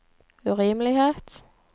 urimelighet